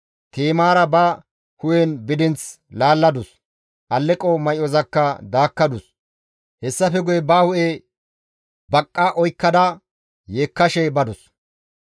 Ti7imaara ba hu7en bidinth laalladus; alleqo may7ozakka daakkadus; hessafe guye ba hu7e baqqa oykkada yeekkashe badus.